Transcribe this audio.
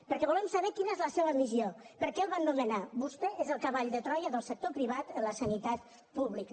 perquè volem saber quina és la seva missió per què el van nomenar vostè és el cavall de troia del sector privat en la sanitat pública